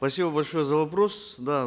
спасибо большое за вопрос да